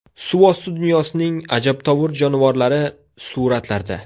Suvosti dunyosining ajabtovur jonivorlari suratlarda.